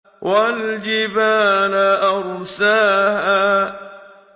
وَالْجِبَالَ أَرْسَاهَا